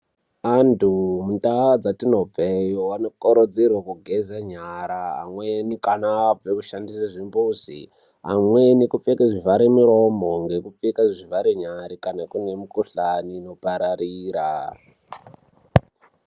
Anthu mundau dzatinobve anokurudzirwa kugeze nyara amweni kana abve kushandisa zvimbuzi amweni kupfeka zvivhare muromo ngekupfeke zvivhare nyara kana kune mikuhlani inopararira.